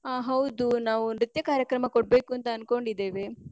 ಆ ಹೌದು ನಾವೂ ನೃತ್ಯ ಕಾರ್ಯಕ್ರಮ ಕೊಡ್ಬೇಕು ಅಂತ ಅನ್ಕೊಂಡಿದ್ದೇವೆ.